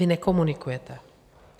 Vy nekomunikujete.